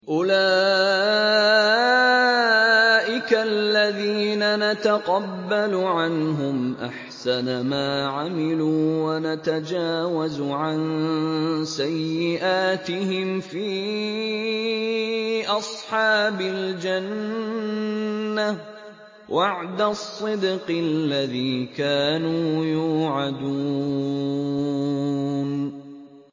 أُولَٰئِكَ الَّذِينَ نَتَقَبَّلُ عَنْهُمْ أَحْسَنَ مَا عَمِلُوا وَنَتَجَاوَزُ عَن سَيِّئَاتِهِمْ فِي أَصْحَابِ الْجَنَّةِ ۖ وَعْدَ الصِّدْقِ الَّذِي كَانُوا يُوعَدُونَ